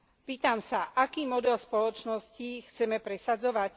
Pýtam sa, aký model spoločnosti chceme presadzovať?